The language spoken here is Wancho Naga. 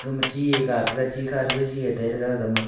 gama chie ga taiga chikha re jaji e tairega gama--